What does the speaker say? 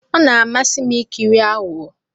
Ọ na-amasị m ikiri aghụghọ.